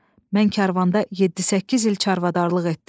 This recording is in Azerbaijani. Mən karvanda yeddi-səkkiz il çarvadarlıq etdim.